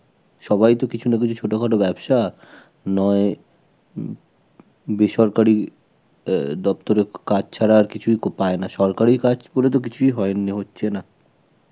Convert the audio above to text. সবাইতো কিছু না কিছু ছোটখাটো ব্যবসা, নয় বেসরকারি এ~, দপ্তরে কাজ ছাড়া আর কিছুই পায়না. সরকারি কাজ করে তো কিছুই হয়~, হচ্ছে না.